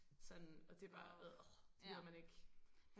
Sådan og det bare adr det gider man ikke